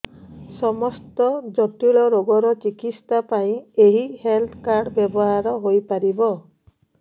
ସମସ୍ତ ଜଟିଳ ରୋଗର ଚିକିତ୍ସା ପାଇଁ ଏହି ହେଲ୍ଥ କାର୍ଡ ବ୍ୟବହାର ହୋଇପାରିବ